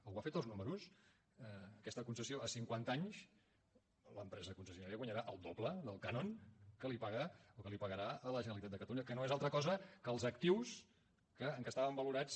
algú ha fet els números aquesta concessió a cinquanta anys l’empresa concessionària guanyarà el doble del cànon que li paga o que li pagarà a la generalitat de catalunya que no és altra cosa que els actius en què estaven valorats